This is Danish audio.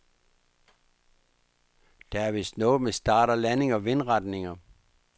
Der er vist noget med start og landing og vindretninger.